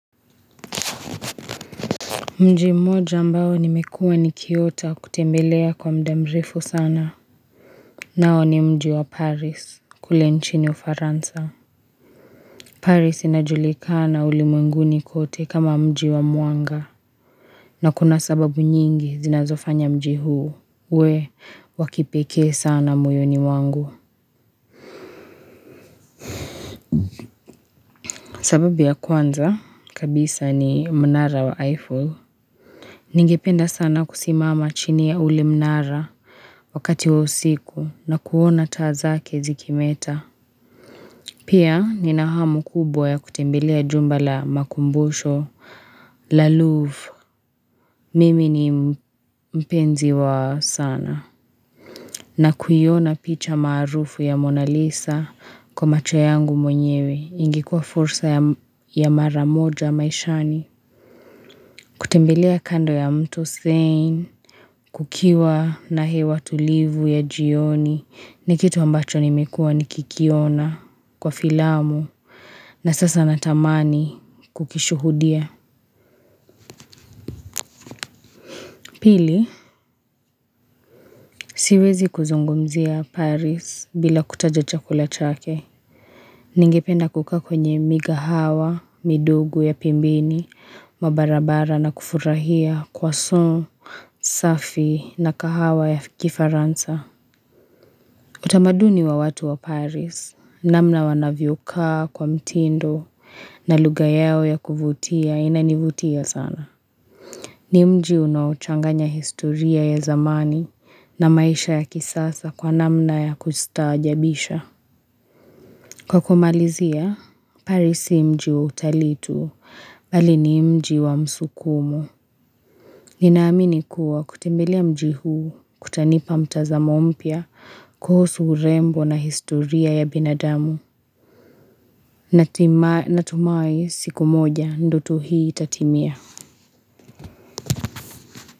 Mji moja ambao nimekuwa ni kiota kutembelea kwa mdamrifu sana nao ni mji wa paris kule nchini ufaransa Paris inajulikana ulimwenguni kote kama mji wa mwanga na kuna sababu nyingi zinazofanya mji huu we wakipekee sana muyoni wangu sababu ya kwanza kabisa ni mnara wa Eiffel Ningependa sana kusimama chini ya ule mnara wakati wa usiku na kuona taa zake zikimeta. Pia ni nahamu kubwa ya kutembelea jumbala makumbosho la Louvre. Mimi ni mpenzi wa sana. Na kuyona picha maarufu ya Mona Lisa kwa macho yangu mwenyewe ingikuwa fursa ya mara moja maishani. Kutembelea kando ya mtu zain, kukiwa na hewa tulivu ya jioni ni kitu ambacho nimekua nikikiona kwa filamu na sasa natamani kukishuhudia. Pili, siwezi kuzungumzia Paris bila kutaja chakula chake. Ningependa kukaa kwenye migahawa, midogo ya pembini, mabarabara na kufurahia kwa son, safi na kahawa ya kifaransa. Utamaduni wa watu wa Paris, namna wanavyokaa kwa mtindo na lugha yao ya kuvutia inanivutia sana. Ni mji unochanganya historia ya zamani na maisha ya kisasa kwa namna ya kustajabisha. Kwa kumalizia, Paris ni mji wa utalii tu bali ni mji wa msukumu. Ninaamini kuwa kutembelea mjihu kutanipa mtazamo mpya kuhusu urembo na historia ya binadamu Natumai siku moja ndoto hii itatimia.